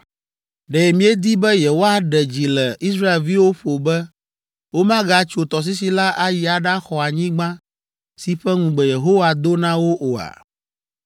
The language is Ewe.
Ɖe miedi be yewoaɖe dzi le Israelviwo ƒo be womagatso tɔsisi la ayi aɖaxɔ anyigba si ƒe ŋugbe Yehowa do na wo oa?